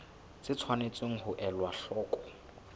tse tshwanetseng ho elwa hloko